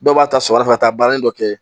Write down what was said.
Dɔw b'a ta sɔgɔma ka taa baara dɔ kɛ